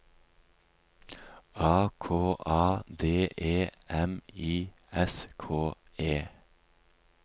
A K A D E M I S K E